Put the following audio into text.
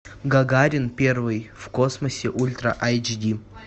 гагарин первый в космосе ультра эйч ди